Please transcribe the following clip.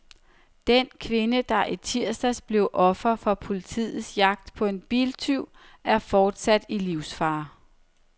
Den kvinde, der i tirsdags blev offer for politiets jagt på en biltyv, er fortsat i livsfare.